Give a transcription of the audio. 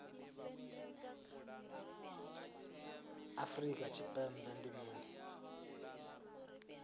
afrika tshipembe sagnc ndi mini